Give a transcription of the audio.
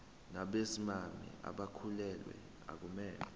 nabesimame abakhulelwe akumele